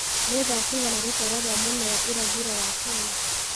nĩ thaa cigana rũteere rwa mwena wa irathĩro wa Kenya